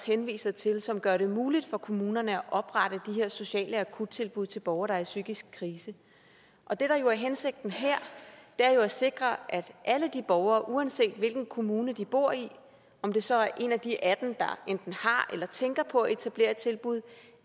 henviser til og som gør det muligt for kommunerne at oprette her sociale akuttilbud til borgere der er i psykisk krise og det der jo er hensigten her er at sikre at alle de borgere uanset hvilken kommune de bor i om det så er en af de atten kommuner der enten har eller tænker på at etablere et tilbud